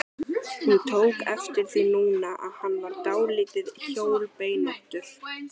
Hún tók eftir því núna að hann var dálítið hjólbeinóttur.